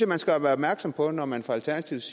man skal være opmærksom på når man fra alternativets